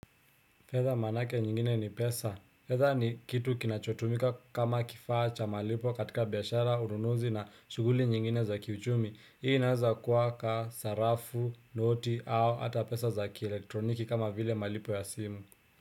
Fedha maana yake nyingine ni pesa. Fedha ni kitu kinachotumika kama kifaa cha malipo katika biashara, ununuzi na shughuli nyingine za kiuchumi. Hii inaweza kuwa kama sarafu, noti au hata pesa za kielektroniki kama vile malipo ya simu.